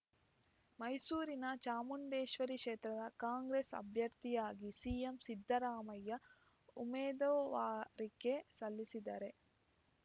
ಮೈಸೂರಿನ ಚಾಮುಂಡೇಶ್ವರಿ ಕ್ಷೇತ್ರದ ಕಾಂಗ್ರೆಸ್‌ ಅಭ್ಯರ್ಥಿಯಾಗಿ ಸಿಎಂ ಸಿದ್ದರಾಮಯ್ಯ ಉಮೇದುವಾರಿಕೆ ಸಲ್ಲಿಸಿದರೆ